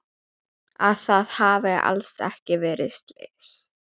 Að það hafi alls ekki verið slys.